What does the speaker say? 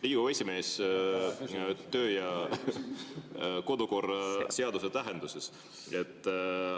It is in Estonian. Riigikogu esimees töö- ja kodukorra seaduse tähenduses.